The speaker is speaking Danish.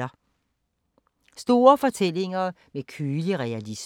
Store fortællinger med kølig realisme